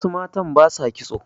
wasu matan ba sa kitso